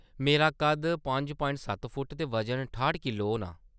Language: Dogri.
मेरा कद्द पंज प्वांइट सत्त फुट्ट ते वजन ठाह्ट किल्लो होना।